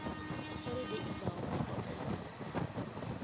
tshelede i bvaho kha othari